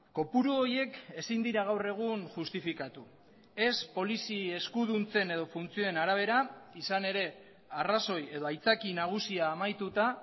kopuru horiek ezin dira gaur egun justifikatu ez polizi eskuduntzen edo funtzioen arabera izan ere arrazoi edo aitzaki nagusia amaituta